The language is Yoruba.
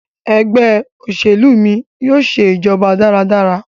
Ẹgbẹ́ òṣèlú mí yóò ṣe ìjọba dára dára.